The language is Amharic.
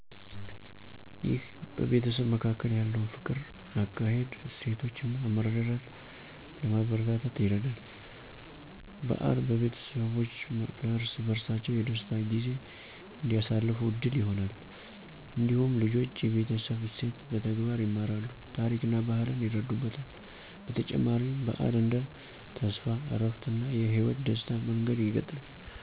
ይህ በቤተሰብ መካከል ያለውን ፍቅር፣ አካሄድ፣ እሴቶች እና መረዳዳትን ለማበረታታት ይረዳል። በዓል ቤተሰቦች ለእርስ በርሳቸው የደስታ ጊዜ እንዲያሳልፉ ዕድል ይሆናል። እንዲሁም ልጆች የቤተሰብ እሴትን በተግባር ይማራሉ፣ ታሪክና ባህልን ይረዱበታል። በተጨማሪም፣ በዓል እንደ ተስፋ፣ እረፍት፣ እና የህይወት ደስታ መንገድ ይገለጣል።